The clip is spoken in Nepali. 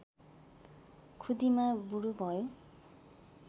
खुदिमा बुढो भयो